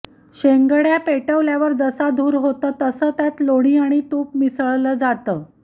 शेंगड्या पेटवल्यावर जसा धूर होतो तसं त्यात लोणी आणि तूप मिसळलं जातं